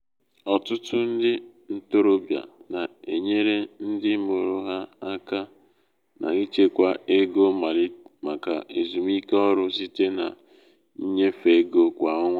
ọtụtụ ndị ntorobịa na-enyere ndị mụrụ ha aka aka n’ịchekwa ego maka ezumike ọrụ site na ịnyefe ego kwa ọnwa.